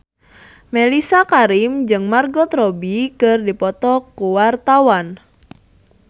Mellisa Karim jeung Margot Robbie keur dipoto ku wartawan